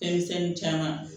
Fɛn misɛnnin caman